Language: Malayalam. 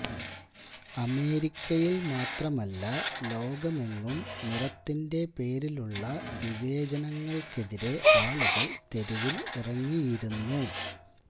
അമേരിക്കയില് മാത്രമല്ല ലോകമെങ്ങും നിറത്തിന്റെ പേരിലുള്ള വിവേചനങ്ങള്ക്കെതിരെ ആളുകള് തെരുവില് ഇറങ്ങിയിരുന്നു